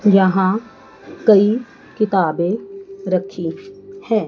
यहां कई किताबें रखी हैं।